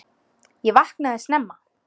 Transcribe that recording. Ég vaknaði snemma.